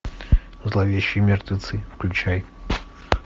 зловещие мертвецы включай